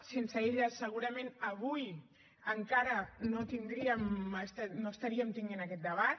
sense ella segurament avui encara no tindríem no estaríem tenint aquest debat